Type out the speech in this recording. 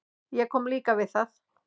Ég kom líka við það.